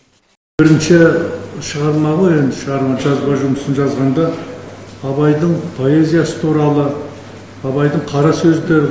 бірінші шығарма ғой енді шығарма жазба жұмысын жазғанда абайдың поэзиясы туралы абайдың қара сөздерін